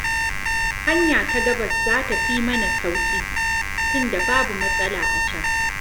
Hanya ta gabas za ta fi mana sauƙi, tunda babu matsala a can.